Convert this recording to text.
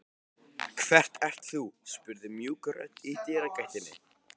Hver ert þú? spurði mjúk rödd í dyragættinni.